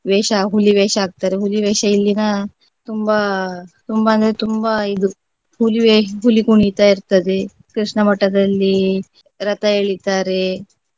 ವೇಷ ಹುಲಿ ವೇಷ ಹಾಕ್ತಾರೆ ಹುಲಿ ವೇಷ ಇಲ್ಲಿನ ತುಂಬಾ ತುಂಬಾ ಅಂದ್ರೆ ತುಂಬಾ ಇದು ಹುಲಿವೇಷ್~ ಹುಲಿ ಕುಣಿತ ಇರ್ತದೆ ಕೃಷ್ಣ ಮಠದಲ್ಲಿ ರಥ ಎಳಿತಾರೆ.